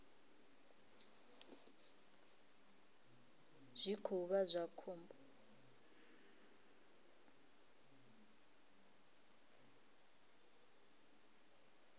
zwi khou vha zwa khombo